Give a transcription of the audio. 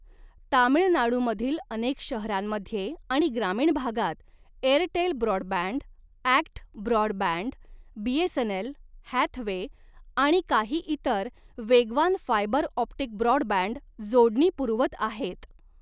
तामिळनाडूमधील अनेक शहरांमध्ये आणि ग्रामीण भागात, Airtel broadband, ACT broadband, BSNL, Hathway आणि काही इतर, वेगवान फायबर ऑप्टिक ब्रॉडबँड जोडणी पुरवत आहेत.